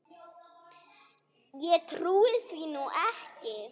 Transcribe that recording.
Ég trúi því nú ekki.